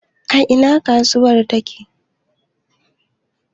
A ina kasuwar take?